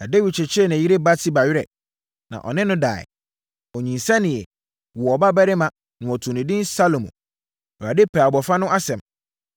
Na Dawid kyekyeree ne yere Batseba werɛ, na ɔne no daeɛ. Ɔnyinsɛneeɛ, woo ɔbabarima, na wɔtoo no edin Salomo. Awurade pɛɛ abɔfra no asɛm,